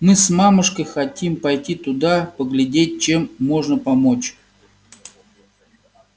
мы с мамушкой хотим пойти туда поглядеть чем можно помочь